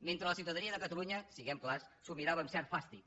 mentre la ciutadania de catalunya siguem clars s’ho mirava amb cert fàstic